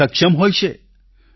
ઘણાં સક્ષમ હોય છે